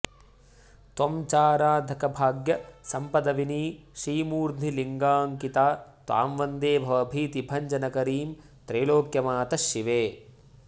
त्वं चाराधकभाग्यसम्पदविनी श्रीमूर्ध्नि लिङ्गाङ्किता त्वां वन्दे भवभीतिभञ्जनकरीं त्रैलोक्यमातः शिवे